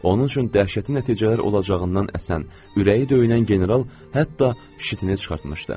Onun üçün dəhşətli nəticələr olacağından əsən, ürəyi döyünən general hətta şitinə çıxmışdı.